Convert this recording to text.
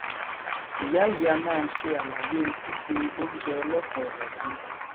ìyá yìí a máa ṣe àlàyé síse oúnjẹ ọlọkanòjọkan